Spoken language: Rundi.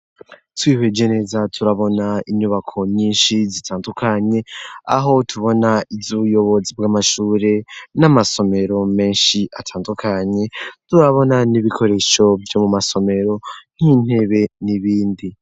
Twiheje neza turabona inyubako nyinshi zitandukanye aho tubona izo uuyobozi bw'amashure n'amasomero menshi atandukanye turabona n'ibikoresho vyo mu masomero nk'intebe n'ibindi.